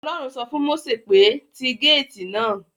Ọlọ́run sọ fún Mósè pé; ti gáàtì náà